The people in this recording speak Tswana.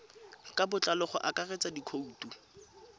ka botlalo go akaretsa dikhoutu